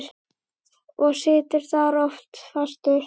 Og situr þar oft fastur.